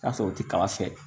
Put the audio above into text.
Ka sɔrɔ u ti kala fɛ